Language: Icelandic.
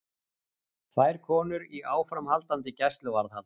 Tvær konur í áframhaldandi gæsluvarðhald